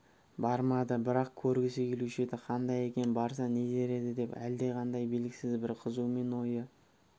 бармады бірақ көргісі келуші еді қандай екен барса нетер еді деп әлдеқандай белгісіз бір қызумен ойы